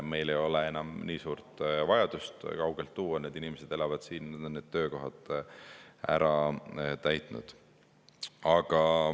Meil ei ole enam nii suurt vajadust kaugelt tuua, need inimesed elavad siin ja on need töökohad ära täitnud.